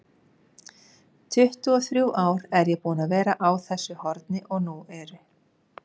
tuttugu-og-þrjú ár er ég búinn að vera á þessu horni og nú eru